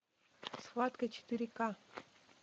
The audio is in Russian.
схватка четыре ка